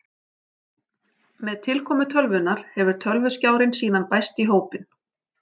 Með tilkomu tölvunnar hefur tölvuskjárinn síðan bæst í hópinn.